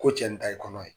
Ko cɛ nin ta ye kɔnɔ ye